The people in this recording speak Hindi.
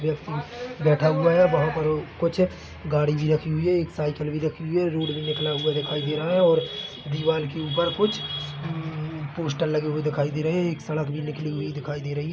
व्यक्ति बैठा हुआ हैं वहाँ पर कुछ गाड़ी भी रखी हुई हैं एक साइकिल भी रखी हुई हैं एक रोड भी निकला हुआ दिखाई दे रहा हैं और दीवार के ऊपर कुछ पोस्टर लगे हुए दिखाई दे रहे हैं एक सड़क भी निकली हुई दिखाई दे रही--